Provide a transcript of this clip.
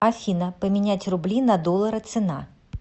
афина поменять рубли на доллары цена